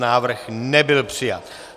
Návrh nebyl přijat.